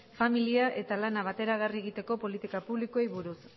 familia eta lana bateragarri egiteko politika publikoei buruz